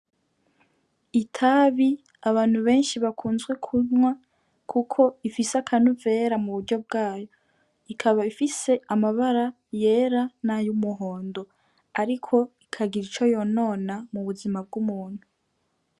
Itabi abantu benshi bakunze kunwa kuko rifise akanovera muburyo bwayo. Ikaba ifise amabara yera n'ay'umuhondo; ariko rikagira ico yonona mubuzima bw'umuntu.